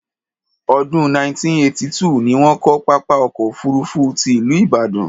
Ọdún 1982 ni wọ́n kọ́ pápá ọkọ̀ òfuurufú ti ìlú Ìbàdàn.